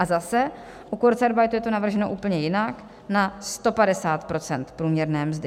A zase, u kurzarbeitu je to navrženo úplně jinak - na 150 % průměrné mzdy.